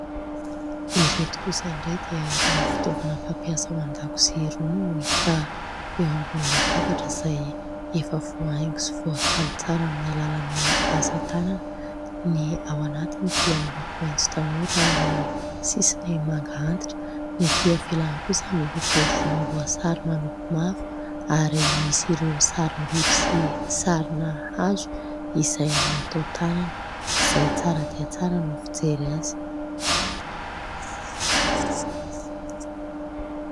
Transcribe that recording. Ireto kosa indray dia irony fitaovana fampiasa ao an-dakozia irony no hita eo ambony latabatra izay efa voahaingo sy voakaly tsara amin'ny alalan'ny asa tanana. Ny ao anatiny dia miloko maitso tanora ary ny sisiny manga antitra. Ny etỳ ivelany kosa miloko volomboasary manopy mavo ary misy ireo sarim-biby sy sarina hazo izay natao tanana izay tsara dia tsara ny fijery azy.